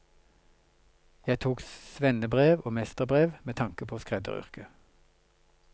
Jeg tok svennebrev og mesterbrev med tanke på skredderyrket.